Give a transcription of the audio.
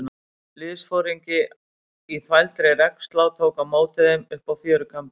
Liðsforingi í þvældri regnslá tók á móti þeim uppi á fjörukambinum.